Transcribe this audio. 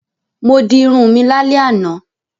Mo di irun mi lálẹ́ àná.